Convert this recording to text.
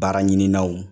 Baara ɲinanw